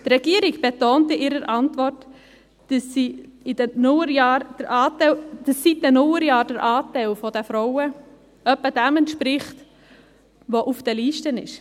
Die Regierung betont in ihrer Antwort, dass seit den Nullerjahren der Frauenanteil in etwa dem auf den Listen entspricht.